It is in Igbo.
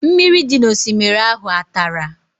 Mmiri dị n'osimiri ahụ a tara?